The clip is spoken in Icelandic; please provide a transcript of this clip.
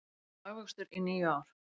Mesti hagvöxtur í níu ár